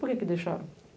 Por que deixaram?